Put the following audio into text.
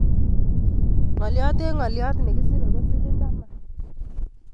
Ngolyot en ngolyot nekisire ko silink taman.